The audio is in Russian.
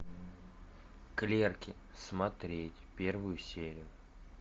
клерки смотреть первую серию